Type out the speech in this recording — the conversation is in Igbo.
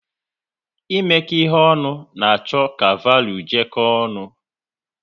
Imeko ihe ọnụ na-achọ ka valuu jeko ọnụ